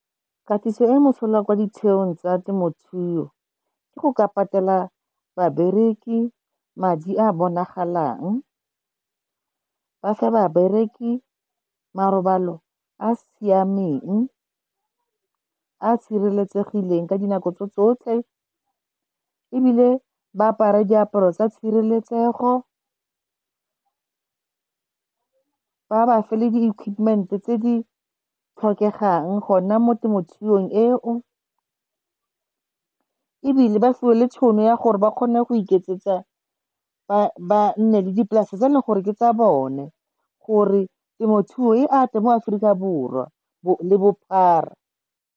Katiso e mosola kwa ditheong tsa temothuo, ke go ka patela ba bereki madi a bonagalang. Ba fe ba bereki marobalo a siameng, a sireletsegileng ka dinako tso tsotlhe, ebile ba apara diaparo tsa tshireletsego, ba ba fa le di-equipment-e tse di tlhokegang gona mo temothuong eo. Ebile ba fiwe le tšhono ya gore ba kgone go iketsetsa ba nne le dipolase tse e leng gore ke tsa bone. Gore temothuo e ate mo Aforika Borwa le bophara.